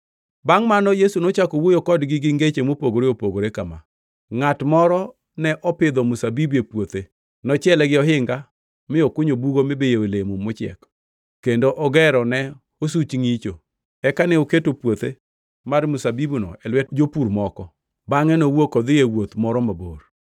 Bangʼ mano Yesu nochako wuoyo kodgi gi ngeche mopogore opogore kama: “Ngʼat moro ne opidho mzabibu e puothe. Nochiele gi ohinga, mi okunyo bugo mibiyoe olemo mochiek, kendo ogero ne osuch ngʼicho. Eka ne oketo puothe mar mzabibuno e lwet jopur moko bangʼe nowuok odhi e wuoth moro mabor.